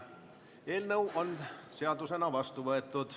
Eelnõu on seadusena vastu võetud.